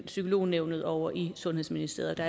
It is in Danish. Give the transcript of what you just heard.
psykolognævnet over i sundhedsministeriet